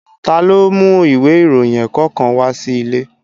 Ta ló mú ìwé ìròyìn ẹ̀kọ́ kan wá sí ilé?